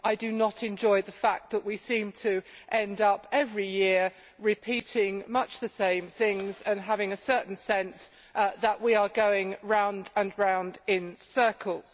I do not enjoy the fact that we seem to end up every year repeating much the same things and having a certain sense that we are going round and round in circles.